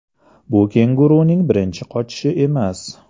Bu kenguruning birinchi qochishi emas.